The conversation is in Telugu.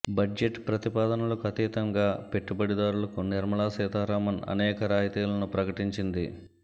బడ్జెట్ ప్రతిపాదనలకు అతీతంగా పెట్టుబడిదారులకు నిర్మలా సీతారామన్ అనేక రాయితీలను ప్రకటించింది